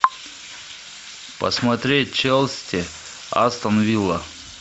посмотреть челси астон вилла